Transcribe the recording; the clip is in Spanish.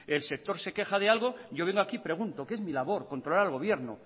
el sector se queja de algo yo vengo aquí y pregunto que es mi labor controlar al gobierno